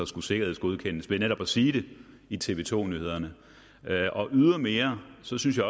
skulle sikkerhedsgodkendes ved netop at sige det i tv to nyhederne ydermere synes jeg